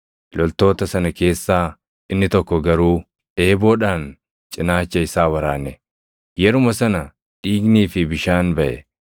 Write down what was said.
Loltoota sana keessaa inni tokko garuu eeboodhaan cinaacha isaa waraane; yeruma sana dhiignii fi bishaan baʼe.